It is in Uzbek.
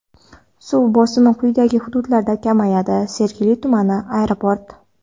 Suv bosimi quyidagi hududlarda kamayadi: Sergeli tumani: Aeroport.